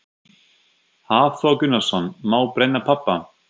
Hafþór Gunnarsson: Má brenna pappa?